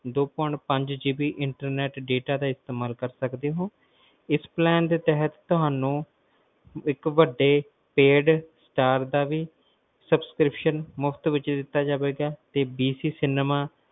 ਦੋ point ਪੰਜ GBInternet ਦਾ ਇਸਤੇਮਾਲ ਕਰ ਸਕਦੇ ਹੋ ਇਸ plan ਦੇ ਤਹਿਤ ਤੁਹਾਨੂੰ ਇੱਕ ਵੱਡੇ ਦਾ ਵੀ subscription ਮੁਫ਼ਤ ਵਿਚ ਦਿੱਤਾ ਜਾਵੇਗਾ